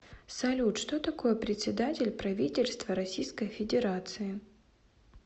салют что такое председатель правительства российской федерации